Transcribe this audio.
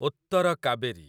Uttar Kaveri